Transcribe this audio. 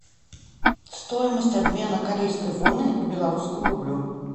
стоимость обмена корейской воны к белорусскому рублю